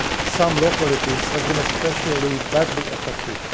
Some localities have been especially badly affected.